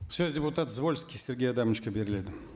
сөз депутат звольский сергей адамовичке беріледі